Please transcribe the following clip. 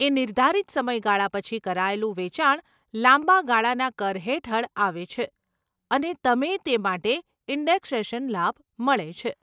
એ નિર્ધારિત સમયગાળા પછી કરાયેલું વેચાણ લાંબા ગાળાના કર હેઠળ આવે છે અને તમે તે માટે ઇન્ડેક્સેશન લાભ મળે છે.